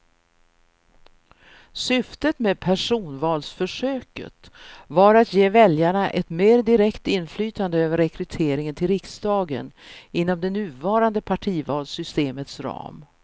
Syftet med personvalsförsöket var att ge väljarna ett mer direkt inflytande över rekryteringen till riksdagen inom det nuvarande partivalssystemets ram.